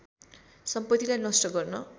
सम्पतिलाई नष्ट गर्न